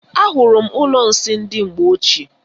Ahụrụ m ụlọ nsị ndị mgbe ochie.